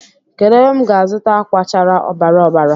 Kedu ebe m ga-azuta akwa chárá ọbara ọbara